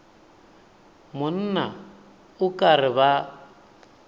monna o ka re ba